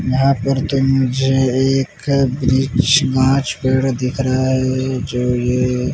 यहाँ पर तो मुझे एक ब्रिच गाँच पेड़ दिख रहा है जो ये --